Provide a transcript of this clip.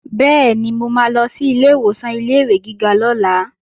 Bẹ́ẹ̀ni, mo máa lọ sí ilé ìwòsàn ilé-ìwé gíga lọ́la